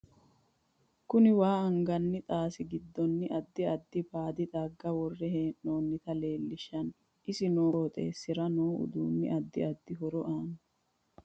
KUni waa angani xaasi gidoosi addi addi baadi xagga wore heenoonita leelishanno isi noo qoxeesira noo uduuni addi addi horo aano